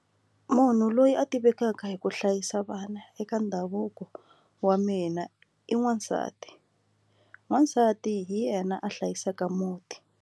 Munhu loyi a tivekaka hi ku hlayisa vana eka ndhavuko wa mina i n'wasati n'wasati hi yena a hlayisaka muti.